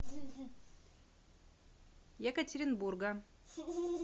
екатеринбурга